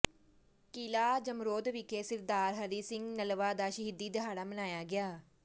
ਕਿਲ੍ਹਾ ਜਮਰੌਦ ਵਿਖੇ ਸਿਰਦਾਰ ਹਰੀ ਸਿੰਘ ਨਲਵਾ ਦਾ ਸ਼ਹੀਦੀ ਦਿਹਾੜਾ ਮਨਾਇਆ ਗਿਆ